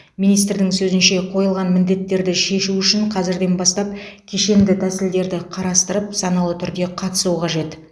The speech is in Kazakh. министрдің сөзінше қойылған міндеттерді шешу үшін қазірден бастап кешенді тәсілдерді қарастырып саналы түрде қатысу қажет